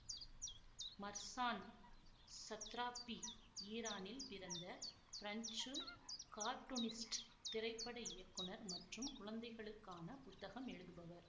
Marzan Satrapi ஈரானில் பிறந்த பிரஞ்சு கார்ட்டூனிஸ்ட் திரைப்பட இயக்குனர் மற்றும் குழந்தைகளுக்கான புத்தகம் எழுதுபவர்